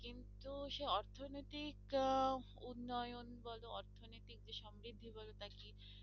কিন্তু সে অর্থনৈতিক আহ উন্নয়ন বলো অর্থনৈতিক যে সমৃদ্ধি বলো তা কি